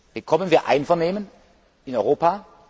Bekommen wir Einvernehmen in Europa?